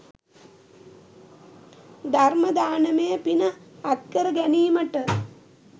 ධර්ම දානමය පින අත් කර ගැනීමට